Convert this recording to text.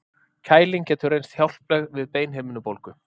Kæling getur reynst hjálpleg við beinhimnubólgu.